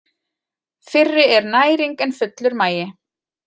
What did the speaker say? Fyrri er næring en fullur magi.